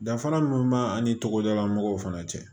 Danfara min b'a ni togodala mɔgɔw fana cɛ